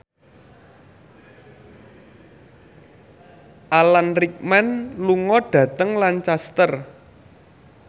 Alan Rickman lunga dhateng Lancaster